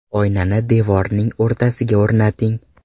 Oynani devorning o‘rtasiga o‘rnating.